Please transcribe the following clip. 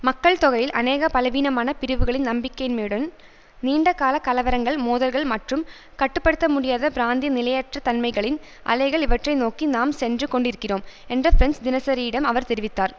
மக்கள் தொகையில் அநேக பலவீனமான பிரிவுகளின் நம்பிக்கையின்மையுடன் நீண்ட கால கலவரங்கள் மோதல்கள் மற்றும் கட்டுப்படுத்தமுடியாத பிராந்திய நிலையற்ற தன்மைகளின் அலைகள் இவற்றை நோக்கி நாம் சென்று கொண்டிருக்கிறோம் என்ற ஃபிரெஞ்சு தினசரியிடம் அவர் தெரிவித்தார்